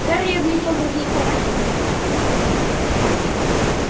гарри оглядел другие кровати